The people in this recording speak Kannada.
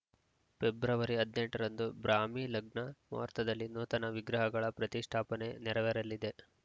ಫೆಬ್ರವರಿ ಹದಿನೆಂಟರಂದು ಬ್ರಾಹ್ಮೀ ಲಗ್ನ ಮಹೂರ್ತದಲ್ಲಿ ನೂತನ ವಿಗ್ರಹಗಳ ಪ್ರತಿಷ್ಠಾಪನೆ ನೆರವೇರಲಿದೆ